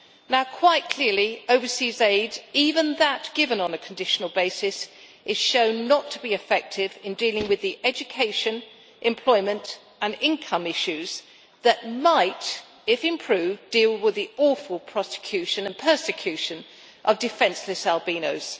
Now quite clearly overseas aid, even that given on a conditional basis, is shown not to be effective in dealing with the education, employment and income issues that might, if improved, deal with the awful prosecution and persecution of defenceless albinos.